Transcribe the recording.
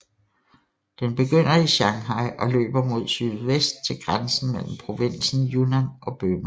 Den begynder i Shanghai og løber mod sydvest til grænsen mellem provinsen Yunnan og Burma